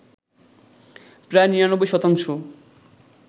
প্রায় ৯৯ শতাংশ